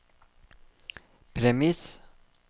premiss